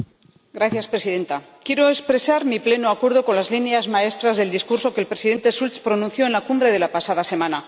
Señora Presidenta, quiero expresar mi pleno acuerdo con las líneas maestras del discurso que el Presidente Schulz pronunció en la Cumbre de la pasada semana.